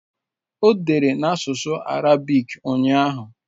O dere na asụsụ Arabik ụnyahụ